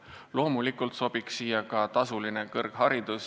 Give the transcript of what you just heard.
Loomulikult sobiks ka tasuline kõrgharidus.